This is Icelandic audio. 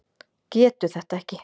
Getur þetta ekki.